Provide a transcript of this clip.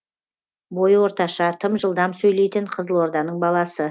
бойы орташа тым жылдам сөйлейтін қызылорданың баласы